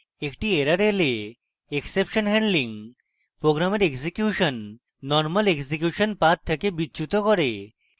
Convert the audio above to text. একটি error এলে exception handling program execution normal execution path থেকে বিচ্যুত করে